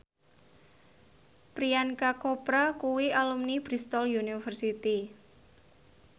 Priyanka Chopra kuwi alumni Bristol university